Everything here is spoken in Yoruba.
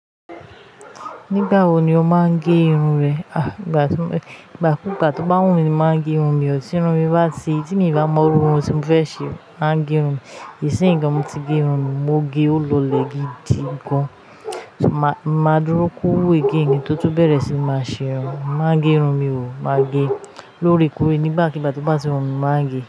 Nígbà wo ni o máa ń gé irun ẹ? Ìgbàkúgbà tó bá wù mí ni mo máa ń gé irun mi o, tí irun mi bá ti tí mi ń bá mọ irú irun tí mo bá fẹ́ ṣe, ma gé irun ní ìsinyì gan mo ti gé irun mi, mo gé ó lọlẹ̀ gidi gan. Ma, mo máa dúró kọ́wú again ní kín tó tún bẹ̀rẹ̀ sì ní máa ṣe irun, máa gẹ́ irun mi o. Màá gẹ́, lóore koore nígbàkigbà tó bá ti wùmí ni, màá ń gẹ́.